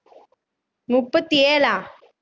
முப்பத்தி ஏழா